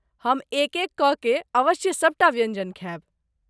हम एक एक क के अवश्य सभटा व्यञ्जन खायब।